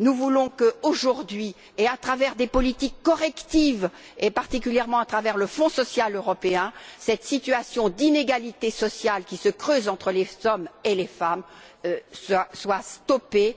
Nous voulons que, aujourd'hui, et à travers des politiques correctives, et particulièrement à travers le Fonds social européen, cette situation d'inégalité sociale qui se creuse entre les hommes et les femmes soit stoppée,